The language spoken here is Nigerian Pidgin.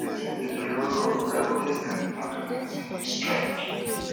wetin be di role of labor union in organizing di strike strike